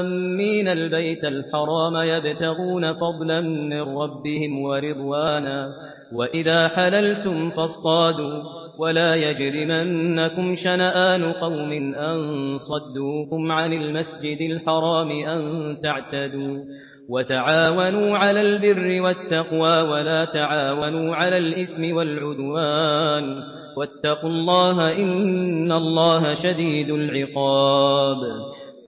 آمِّينَ الْبَيْتَ الْحَرَامَ يَبْتَغُونَ فَضْلًا مِّن رَّبِّهِمْ وَرِضْوَانًا ۚ وَإِذَا حَلَلْتُمْ فَاصْطَادُوا ۚ وَلَا يَجْرِمَنَّكُمْ شَنَآنُ قَوْمٍ أَن صَدُّوكُمْ عَنِ الْمَسْجِدِ الْحَرَامِ أَن تَعْتَدُوا ۘ وَتَعَاوَنُوا عَلَى الْبِرِّ وَالتَّقْوَىٰ ۖ وَلَا تَعَاوَنُوا عَلَى الْإِثْمِ وَالْعُدْوَانِ ۚ وَاتَّقُوا اللَّهَ ۖ إِنَّ اللَّهَ شَدِيدُ الْعِقَابِ